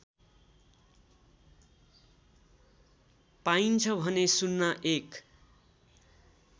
पाइन्छ भने ०१